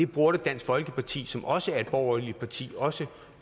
burde dansk folkeparti som også er et borgerligt parti også